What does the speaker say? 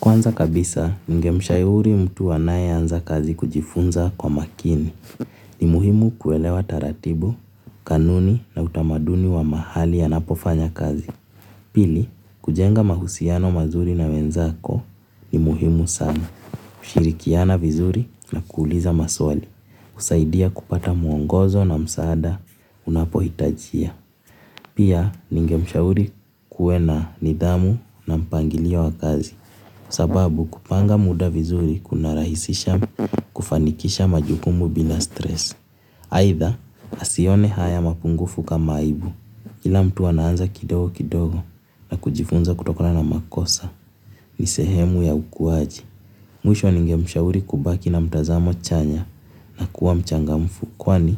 Kwanza kabisa, ningemshauri mtu anayeanza kazi kujifunza kwa makini. Ni muhimu kuelewa taratibu, kanuni na utamaduni wa mahali anapofanya kazi. Pili, kujenga mahusiano mazuri na wenzako ni muhimu sana. Kushirikiana vizuri na kuuliza maswali. Kusaidia kupata muongozo na msaada unapohitajia. Pia, ningemshauri kuwe na nidhamu na mpangilio wa kazi. Sababu kupanga muda vizuri kunarahisisha kufanikisha majukumu bila stress. Aidha asione haya mapungufu kama aibu. Kila mtu anaanza kidogo kidogo na kujifunza kutokana na makosa. Ni sehemu ya ukuaji. Mwisho ningemshauri kubaki na mtazamo chanya na kuwa mchangamfu kwani